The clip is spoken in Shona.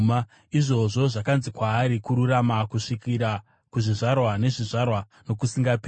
Izvozvo zvakanzi kwaari kururama kusvikira kuzvizvarwa nezvizvarwa nokusingaperi.